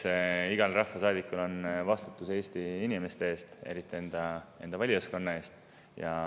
Eks igal rahvasaadikul on vastutus Eesti inimeste ees, eriti enda valijaskonna ees.